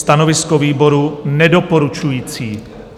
Stanovisko výboru nedoporučující.